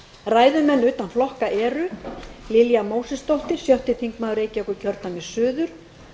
ræðumenn utan flokka eru lilja mósesdóttir sjötti þingmaður reykjavíkurkjördæmis suður